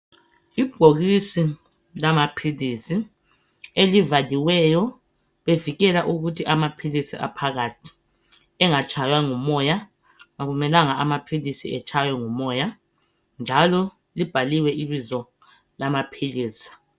Ibhokisi lamaphilisi elibhaliweyo bevikele ukuthi amaphilisi aphakathi engatshaywa ngumoya. Akumelanga ukuthi amaphilisi etshaywe ngumoya njalo libhaliwe ibizo lamaphilisi.